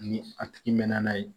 Ni a tigi mɛnna n'a ye